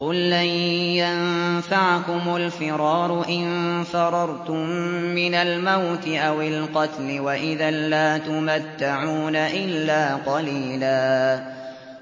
قُل لَّن يَنفَعَكُمُ الْفِرَارُ إِن فَرَرْتُم مِّنَ الْمَوْتِ أَوِ الْقَتْلِ وَإِذًا لَّا تُمَتَّعُونَ إِلَّا قَلِيلًا